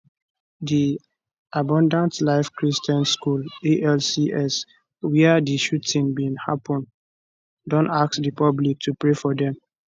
di abundant life christian school alcs wia di shooting bin happun don ask di public to pray for dem